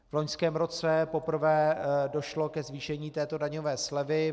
V loňském roce poprvé došlo ke zvýšení této daňové slevy.